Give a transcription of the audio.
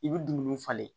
I bɛ dumuni falen